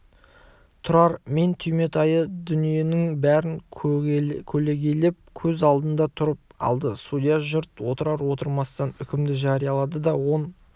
тұрар мен түйметайы дүниенің бәрін көлегейлеп көз алдында тұрып алды судья жұрт отырар-отырмастан үкімді жариялады он